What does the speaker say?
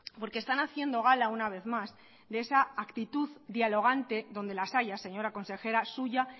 porque están haciendo gala una vez más de esa actitud dialogante donde las haya señora consejera suya